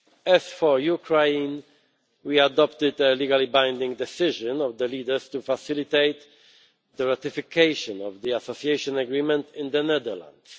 As for Ukraine, we adopted a legally binding decision of the leaders to facilitate the ratification of the Association Agreement in the Netherlands.